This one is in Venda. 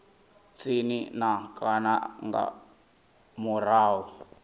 tsini na kana nga murahu